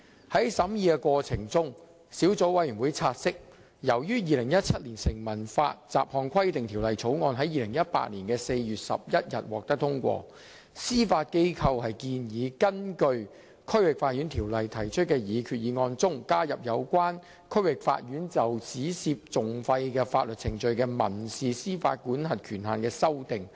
在審議過程中，小組委員會察悉，由於《2017年成文法條例草案》在2018年4月11日獲得通過，司法機構建議在根據《區域法院條例》提出的擬議決議案中，加入有關區域法院就只涉訟費的法律程序的民事司法管轄權限的修訂。